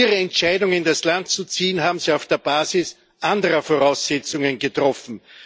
Ihre Entscheidung, in das Land zu ziehen, haben sie auf der Basis anderer Voraussetzungen getroffen.